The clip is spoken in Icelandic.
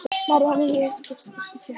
María mey með Jesúbarnið við brjóst sér.